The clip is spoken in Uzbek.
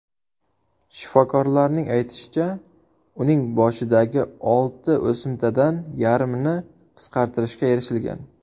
Shiforkorlarning aytishicha, uning boshidagi olti o‘simtadan yarmini qisqartirishga erishilgan.